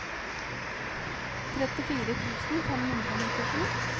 trettifire tusen fem hundre og nittisju